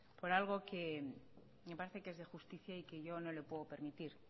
por algo que me parece que es de justicia y que yo no le puedo permitir